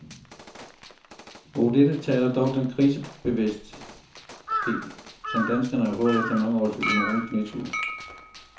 Mod dette taler dog den krisebevidsthed, som danskerne har fået efter mange års økonomisk nedtur.